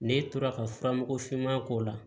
Ne tora ka fura mugu finma k'o la